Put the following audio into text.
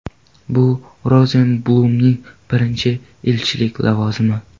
Bu - Rozenblumning birinchi elchilik lavozimi.